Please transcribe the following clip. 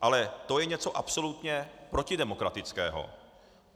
Ale to je něco absolutně protidemokratického.